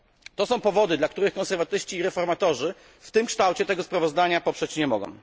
To są powody, dla których konserwatyści i reformatorzy w tym kształcie tego sprawozdania poprzeć nie mogą.